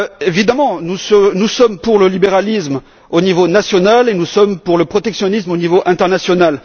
Évidemment, nous sommes pour le libéralisme au niveau national et nous sommes pour le protectionnisme au niveau international.